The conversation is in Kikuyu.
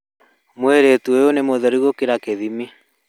Mũirĩtu ũyũ nĩ mũtheru gũkĩria gĩthimi